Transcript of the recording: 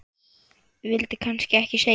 vildi kannski ekki skilja